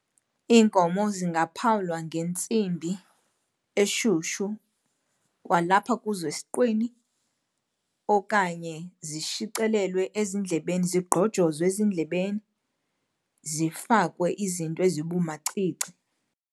Iinkomo zingaphawulwa ngentsimbi eshushu kwalapha kuzo esiqwini okanye zishicilelwe ezindlebeni, zigqojozwe ezindlebeni zifakwe izinto ezibumacici.